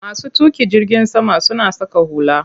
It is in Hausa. Masu tuƙin jirgin sama suna saka hula.